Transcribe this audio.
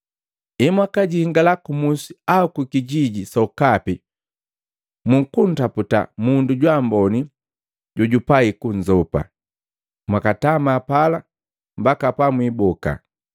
“Emwakajingala ku musi au kijiji sokapi mukuntaputa mundu jwaamboni jojupai kunzopa, mwakatama pala mbaka pamwiboka.